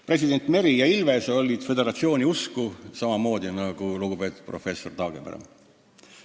Presidendid Meri ja Ilves olid samamoodi föderatsiooniusku nagu lugupeetud professor Taagepera.